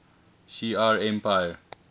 shi ar empire